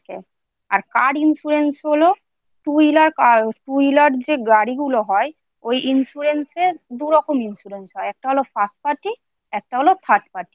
আর Car insurance হল Two Wheeler যে গাড়িগুলো হয় ওই insurance দু রকমের হয় একটা হল First Party একটা হল Third Party